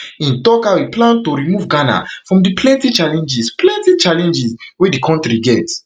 im tok how im plan to remove ghana from di plenti challenges plenti challenges wey di kontri get